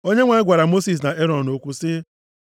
Onyenwe anyị gwara Mosis na Erọn okwu sị,